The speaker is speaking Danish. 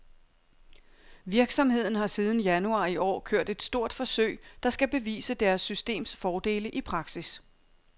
Virksomheden har siden januar i år kørt et stort forsøg, der skal bevise deres systems fordele i praksis.